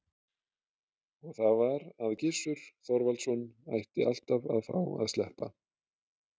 Og það var að Gissur Þorvaldsson ætti alltaf að fá að sleppa.